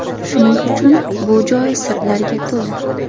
Shuning uchun bu joy sirlarga to‘la.